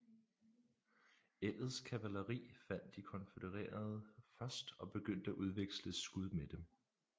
Ellets kavaleri fandt de konfødererede først og begyndte at udveksle skud med dem